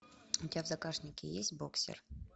у тебя в загашнике есть боксер